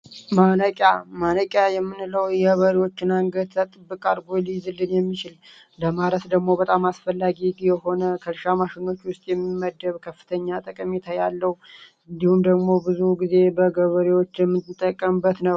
ማነቂያ ማነቂያ የምንለው የበሪዎችን አንገት ጥብቅ አድርጎ ሊይዝልን የሚችል ለማረስ ደግሞ በጣም አስፈላጊ የሆነ ከእርሻ ማሽኞች ውስጥ የሚመደብ ከፍተኛ ጠቀሜታ ያለው እንዲሁም ደግሞ ብዙ ጊዜ በገበሬዎች የሚጠቀሙበት ነው።